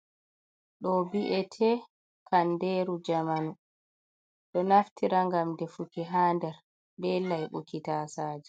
Ɗo vi'ete kanderu jamanu. Ɗo naftira ngam defuki ha nder be laiɓuki tasaje.